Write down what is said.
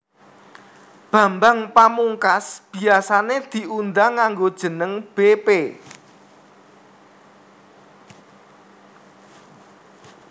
Bambang Pamungkas biasané diundang nganggo jeneng bépé